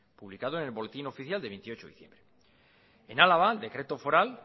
publicado en el boletín oficial de veintiocho de diciembre en álava el decreto foral